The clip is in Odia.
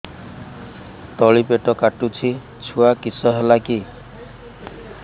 ତଳିପେଟ କାଟୁଚି ଛୁଆ କିଶ ହେଲା କି